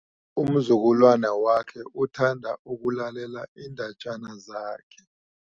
Umzukulwana wakhe uthanda ukulalela iindatjana zakhe.